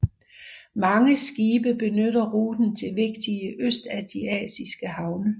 Mange skibe benytter ruten til vigtige østasiatiske havne